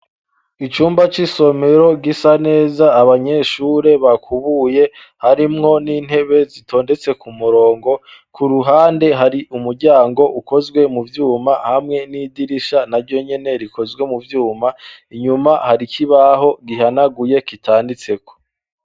Icumba c'isomero gisa neza abanyeshure bakubuye, harimwo n'intebe zitondetse ku murongo . Ku ruhande hari umuryango ukozwe mu vyuma hamwe n'idirisha na ryo nyene rikozwe mu vyuma; inyuma hari ikibaho gihanaguye kitanditseko.